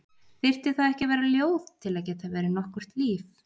Þyrfti það ekki að vera ljóð til að geta verið nokkurt líf?